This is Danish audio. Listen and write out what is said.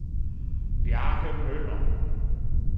Bjarke Møller